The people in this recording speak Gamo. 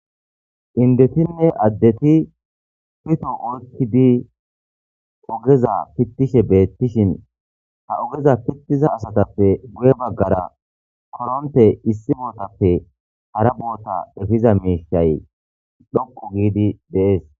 Indetinne addeti pito oykkidi ogeza pittishe beettishin ha ogeza pittiza asatappe guye baggara koronte issi bootappe hara boota efiza meishay dhoqu giidi deees.